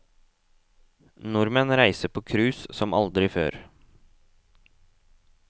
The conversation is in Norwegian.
Nordmenn reiser på cruise som aldri før.